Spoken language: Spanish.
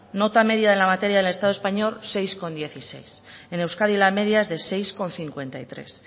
nota media de la materia en el estado español seis coma dieciséis en euskadi la media es de seis coma cincuenta y tres